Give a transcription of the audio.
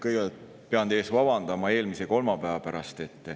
Kõigepealt pean teie ees vabandama eelmise kolmapäeva pärast.